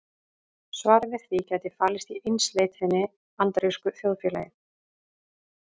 Svarið við því gæti falist í einsleitninni í bandarísku þjóðfélagi.